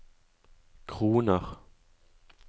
kroner